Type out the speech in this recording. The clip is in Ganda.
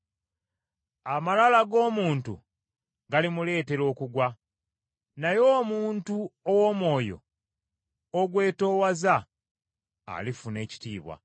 Amalala g’omuntu galimuleetera okugwa, naye omuntu ow’omwoyo ogwetoowaza alifuna ekitiibwa.